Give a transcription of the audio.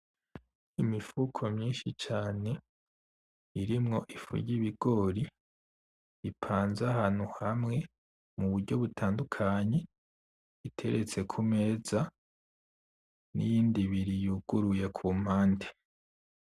Imifuko myinshi cane irimwo ifu ry'ibigori ipanze ahantu hamwe muburyo butandukanye iteretse kumeza niyindi ibiri yuguruye kumpande